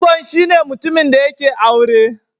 Angon shine mutumin da yake aure.